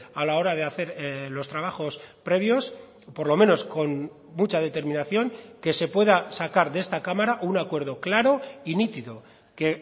a la hora de hacer los trabajos previos por lo menos con mucha determinación que se pueda sacar de esta cámara un acuerdo claro y nítido que